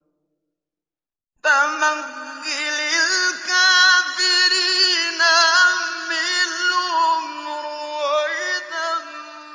فَمَهِّلِ الْكَافِرِينَ أَمْهِلْهُمْ رُوَيْدًا